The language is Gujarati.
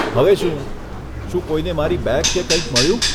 હવે શું? શું કોઇને મારી બેગ કે કંઈક મળ્યું?